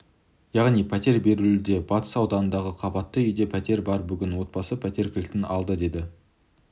яғни пәтер беріледі батыс ауданындағы қабатты үйде пәтер бар бүгін отбасы пәтер кілтін алды деді